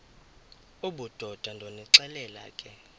obudoda ndonixelela ke